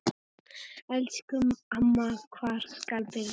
Elsku amma, hvar skal byrja?